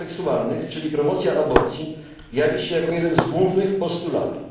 praw seksualnych, czyli promocja aborcji, jawi się jako jeden z głównych postulatów.